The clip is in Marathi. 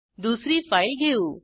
दुसरी फाईल घेऊ